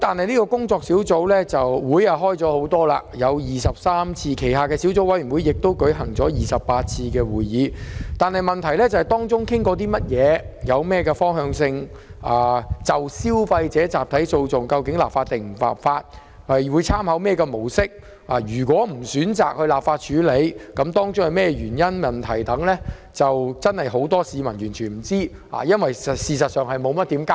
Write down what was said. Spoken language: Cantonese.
雖然該工作小組召開了多達23次會議，其下的小組委員會亦已舉行28次會議，但會議討論了甚麼、有何方向、會否就消費者集體訴訟立法、會參考何種模式，以及若不選擇立法又有何原因等，市民一無所知，因為政府無甚交代。